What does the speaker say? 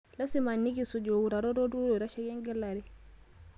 Lasima nikisuj utarot olturur loitasheki engelare